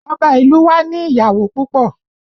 Ọba ìlú u wa ni ìyàwó púpọ̀